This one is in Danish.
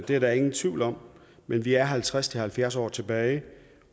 det er der ingen tvivl om men vi er halvtreds til halvfjerds år tilbage